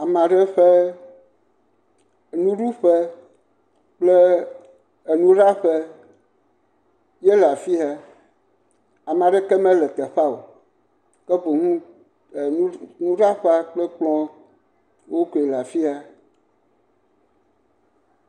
Ame aɖe ƒe nuɖuƒe kple enuɖaƒe yele afia. Ame aɖeke mele teƒea o ke boŋu enu nuɖaƒe ƒe kplɔwo koe le afi ya.